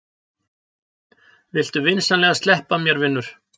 Viltu vinsamlegast sleppa mér, vinur!